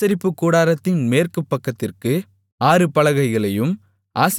ஆசரிப்பு கூடாரத்தின் மேற்குப்பக்கத்திற்கு ஆறு பலகைகளையும்